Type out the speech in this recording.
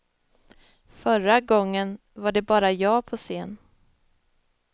Förra gången var det bara jag på scen.